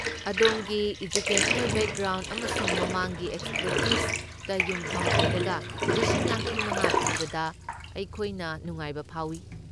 ꯑꯗꯣꯝꯒꯤ educational background ꯑꯃꯁꯨꯡ ꯃꯃꯥꯡꯒꯤ ꯑꯦꯛꯁꯄꯔꯇꯤꯁꯇ ꯌꯨꯝꯐꯝ ꯑꯣꯏꯔꯒ ꯂꯤꯁꯤꯡ ꯌꯥꯡꯈꯩꯃꯉꯥ ꯄꯤꯕꯗ ꯑꯩꯈꯣꯏꯅ ꯅꯨꯡꯉꯥꯏꯕ ꯐꯥꯎꯏ꯫